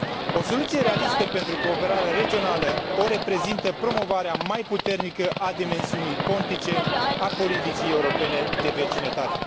O soluție realistă pentru cooperarea regională o reprezintă promovarea mai puternică a dimensiunii pontice a politicii europene de vecinătate.